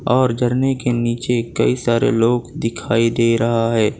और झरने के नीचे कई सारे लोग दिखाई दे रहा है।